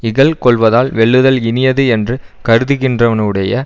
இகல் கொள்வதால் வெல்லுதல் இனியது என்று கருதுகின்றவனுடைய